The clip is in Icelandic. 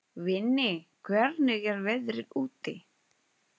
Vinni, hvernig er veðrið úti?